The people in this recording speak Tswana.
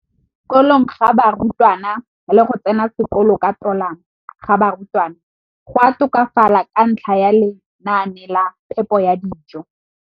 kolong ga barutwana le go tsena sekolo ka tolamo ga barutwana go a tokafala ka ntlha ya lenaane la phepo ya dijo.